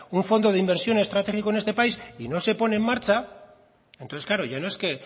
un fondo de inversión estratégico en esta país y no se pone en marcha entonces claro ya no es que